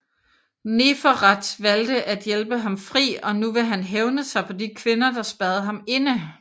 Neferet valgte at hjælpe ham fri og nu vil han hævne sig på de kvinder der spærrede ham inde